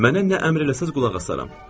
Mənə nə əmr eləsəniz qulaq asaram.